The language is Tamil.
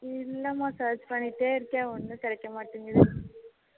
இல்ல மா search பண்ணிட்டே இருக்கேன் ஒண்ணும் கிடைக்க மாட்டுங்குது